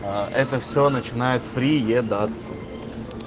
это все начинает приедаться